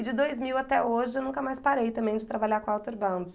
E de dois mil até hoje, eu nunca mais parei também de trabalhar com Outerbound.